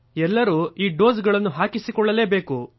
ಎಲ್ಲರೂ ಈ ಡೋಸ್ ಗಳನ್ನುಹಾಕಿಸಿಕೊಳ್ಳಲೇಬೇಕು